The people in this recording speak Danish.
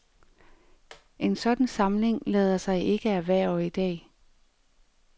En sådan samling lader sig ikke erhverve i dag.